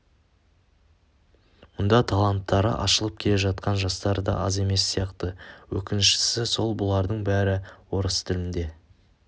мұнда таланттары ашылып келе жатқан жастар да аз емес сияқты өкініштісі сол бұлардың бәрі орыс тілінде